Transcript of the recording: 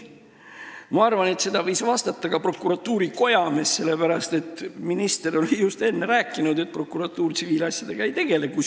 Ma arvan, et seda võis vastata ka prokuratuuri kojamees, sellepärast et minister oli just enne rääkinud, et prokuratuur tsiviilasjadega ei tegele.